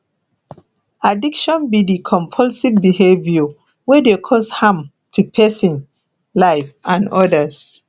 addiction be di compulsive behavior wey dey cause harm to pesin life and odas